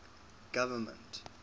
government